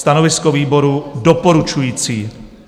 Stanovisko výboru: doporučující.